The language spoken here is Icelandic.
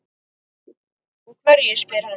Og hverju? spyr hann.